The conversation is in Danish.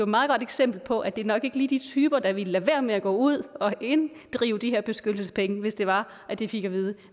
meget godt eksempel på at det nok ikke lige er de typer der ville lade være med at gå ud og inddrive de her beskyttelsespenge hvis det var at de fik at vide at